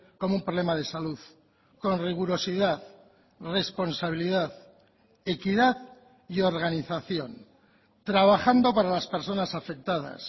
como un problema de salud con rigurosidad responsabilidad equidad y organización trabajando para las personas afectadas